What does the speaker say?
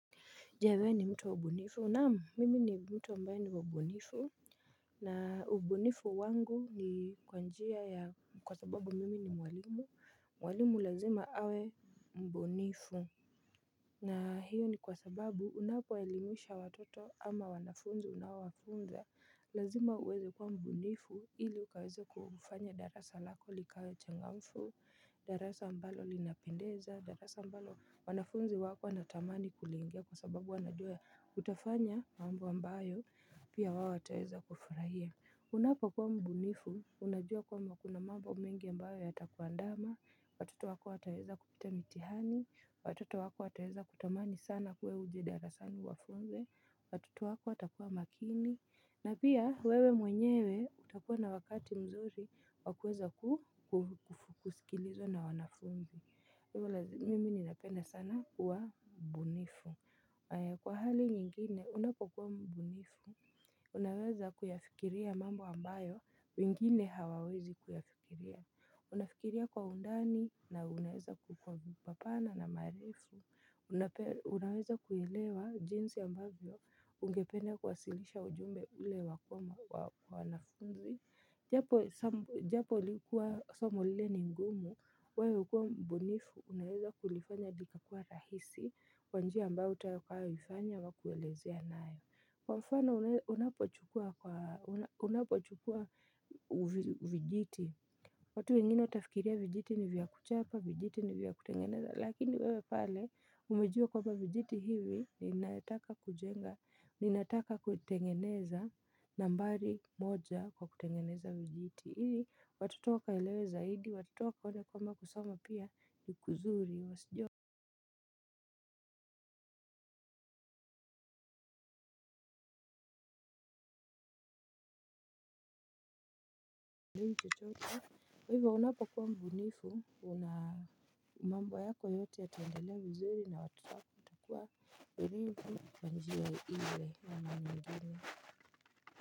Je wewe ni mtu wa mbunifu. Naam mimi ni mtu ambaye ni wa ubunifu. Na ubunifu wangu ni kwa njia ya kwa sababu mimi ni mwalimu. Mwalimu lazima awe mbunifu. Na hiyo ni kwa sababu unapo elimisha watoto ama wanafunzi unawafunza. Lazima uweze kwa mbunifu ili ukaweze kufanya darasa lako likawa changamfu. Darasa ambalo linapendeza, darasa ambalo wanafunzi wako wanatamani kuliingia kwa sababu wanajua utafanya mambo ambayo pia wao wataweza kufurahia. Unapo kuwa mbunifu unajua kwamba kuna mambo mengi ambayo yata kuandama. Watoto wako ataweza kupita mitihani, watoto wako wataweza kutamani sana wewe uje darasani uwafunze, watoto wako wata kuwa makini, na pia wewe mwenyewe utakuwa na wakati mzuri wakuweza kufukusikilizwa na wanafunzi. Mimini ninapenda sana kuwa mbunifu. Kwa hali nyingine unapokuwa mbunifu, unaweza kuyafikiria mambo ambayo, wengine hawawezi kuyafikiria. Unafikiria kwa undani na unaweza kukuwa mpana na marifu. Unaweza kuilewa jinsi ambayo ungependa kuwasilisha ujumbe ule wakuma wanafunzi. Japo likuwa somo lile ni mgumu, wewe ukiwa mbunifu, unaweza kulifanya likakuwa rahisi kwanjia ambayo utakayoifanya wa kuelezea nayo. Kwa mfano unapochukua vijiti, watu wengine watafikiria vijiti ni vya kuchapa, vijiti ni vya kutengeneza. Lakini wewe pale umejua kwamba vijiti hivi ni nataka kujenga ni nataka kutengeneza nambari moja kwa kutengeneza vijiti. Hivi watoto waka elewe zaidi watoto wakaona kwamba kusoma pia vizuri wasijua. Hivyo unapo kuwa mbunifu una mambo yako yote ya taendelea vizuri na watoto watakuwa hivyo kwanjia ile ama nyingine. Kwa hivyo.